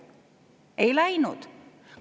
Ei läinud!